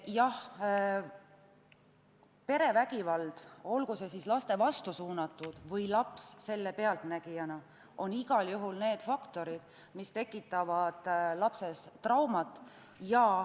Jah, perevägivald, olgu see siis lapse vastu suunatud või laps selle pealtnägija, on igal juhul see faktor, mis tekitab lapsele trauma.